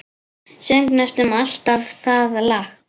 Söng næstum alltaf það lag.